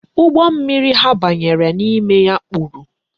Ụgbọ mmiri ha banyere n'ime ya kpuru.